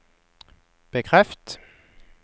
bekreft